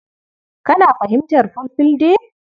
Kana fahimtar Fulfulde?